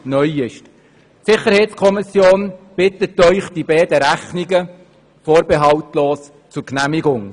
Die SiK bittet Sie, die beiden Rechnungen vorbehaltlos zu genehmigen.